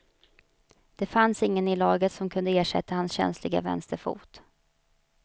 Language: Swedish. Det fanns ingen i laget som kunde ersätta hans känsliga vänsterfot.